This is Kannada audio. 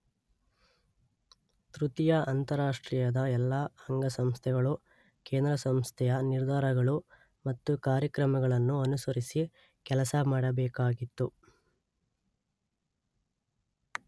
ತೃತೀಯ ಅಂತಾರಾಷ್ಟ್ರೀಯದ ಎಲ್ಲ ಅಂಗಸಂಸ್ಥೆಗಳೂ ಕೇಂದ್ರ ಸಂಸ್ಥೆಯ ನಿರ್ಧಾರಗಳು ಮತ್ತು ಕಾರ್ಯಕ್ರಮಗಳನ್ನು ಅನುಸರಿಸಿ ಕೆಲಸ ಮಾಡಬೇಕಾಗಿತ್ತು.